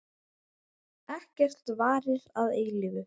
Ekkert varir að eilífu.